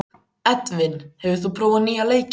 Edvin, hefur þú prófað nýja leikinn?